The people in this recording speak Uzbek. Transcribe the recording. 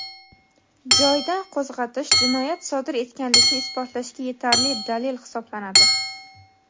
joyidan qo‘zg‘atish jinoyat sodir etganlikni isbotlashga yetarli dalil hisoblanadi.